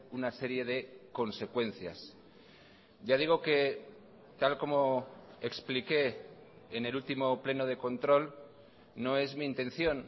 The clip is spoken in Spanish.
una serie de consecuencias ya digo que tal como expliqué en el último pleno de control no es mi intención